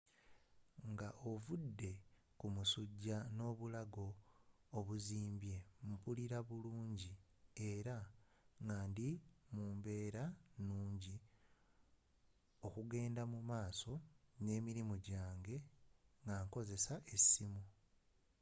nga ovude ku musujja n’obulago obuzimbye, mpulira bulunji era nga ndi mu mbeera nunji okgenda mu maaso n’emirimu jange nga nkzesa essimu